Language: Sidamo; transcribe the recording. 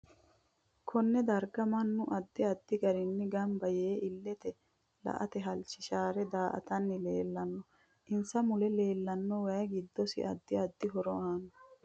Konne darga mannu addi addi garinni ganba yee illete la'ate halchishaare daatani leelanno insa mule leelanno wayi giddosi addi addi horo aano